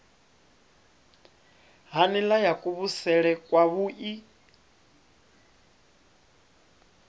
ha nila ya kuvhusele kwavhui